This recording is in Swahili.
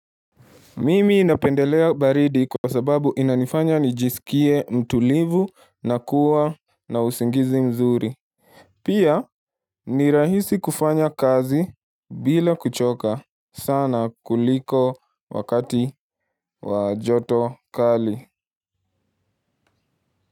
Mimi napendelea baridi kwa sababu inanifanya nijiskie mtulivu na kuwa na usingizi mzuri. Pia ni rahisi kufanya kazi bila kuchoka sana kuliko wakati wa joto kali.